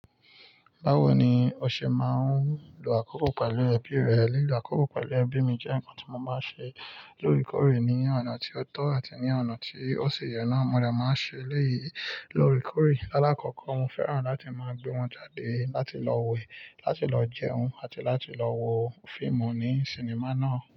Báwo ni o ṣe máa ń lo àkókò pẹ̀lú ẹbí rẹ? Lílọ àkókò pẹ̀lú ẹbí mi jẹ́ ǹkan tí mo máa ń ṣe lóòrèkóòrè ní ọ̀nà tí ó tọ́ àti ní ọ̀nà tí ó si yẹ nàá. Mo de máa ń ṣe eleyi lorekórè. Lalakọ́kọ́, mo fẹ́ràn láti máa gbé wọn jáde láti lọ wẹ̀, láti lọ jẹun, àti láti lọ wo fíìmù ní sinimá náà.